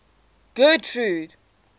getrude